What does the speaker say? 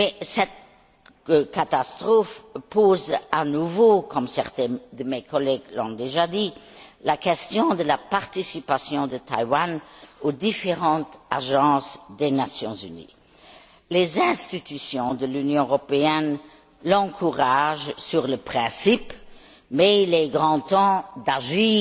Cette catastrophe pose à nouveau, comme certains de mes collègues l'ont déjà dit, la question de la participation de Taïwan aux différentes agences des Nations unies. Les institutions de l'Union européenne l'encouragent sur le principe, mais il est grand temps d'agir